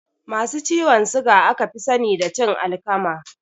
Masu ciwon suga aka fi sani da cin alkama